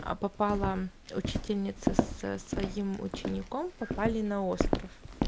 а попала учительница со своим учеником попали на остров